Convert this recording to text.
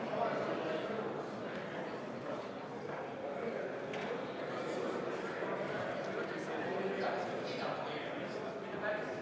Vabariigi Valimiskomisjon on valmis läbi viima Riigikogu esimehe valimisi.